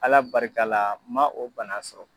Ala barikala n man o bana sɔrɔ.